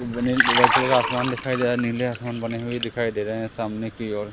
White colour का आसमान दिखाई दे रहा है नीले आसमान बने हुए दिखाई दे रहे हैं सामने की ओर।